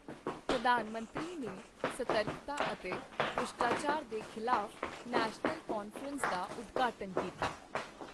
ਪ੍ਰਧਾਨ ਮੰਤਰੀ ਨੇ ਸਤਰਕਤਾ ਅਤੇ ਭ੍ਰਿਸ਼ਟਾਚਾਰ ਦੇ ਖ਼ਿਲਾਫ਼ ਨੈਸ਼ਨਲ ਕਾਨਫ਼ਰੰਸ ਦਾ ਉਦਘਾਟਨ ਕੀਤਾ